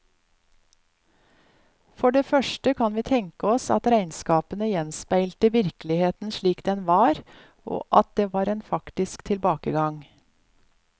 For det første kan vi tenke oss at regnskapene gjenspeilte virkeligheten slik den var, og at det var en faktisk tilbakegang.